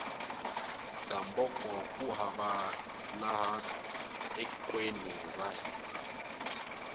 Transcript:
gamboko ku hava laha tekweni ra hina